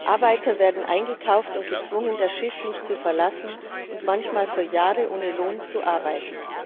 Arbeiter werden eingekauft und gezwungen, das Schiff nicht zu verlassen und manchmal für Jahre ohne Lohn zu arbeiten.